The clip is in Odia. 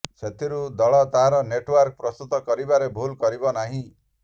ସେଥିପାଇଁ ଦଳ ତାର ନେଟ୍ୱାର୍କ ପ୍ରସ୍ତୁତ କରିବାରେ ଭୁଲ୍ କରିବ ନାହିଁ